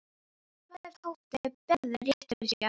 Hvað ef Tóti hefði rétt fyrir sér?